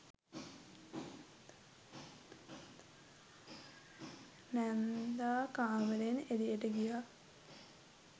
නැන්දා කාමරයෙන් එළියට ගියා.